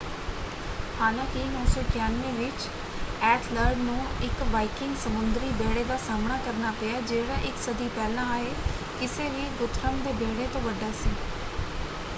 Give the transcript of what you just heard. ਹਾਲਾਂਕਿ 991 ਵਿੱਚ ਏਥਲਰਡ ਨੂੰ ਇੱਕ ਵਾਈਕਿੰਗ ਸਮੁੰਦਰੀ ਬੇੜੇ ਦਾ ਸਾਹਮਣਾ ਕਰਨਾ ਪਿਆ ਜਿਹੜਾ ਇੱਕ ਸਦੀ ਪਹਿਲਾਂ ਆਏ ਕਿਸੇ ਵੀ ਗੁਥਰਮ ਦੇ ਬੇੜੇ ਤੋਂ ਵੱਡਾ ਸੀ।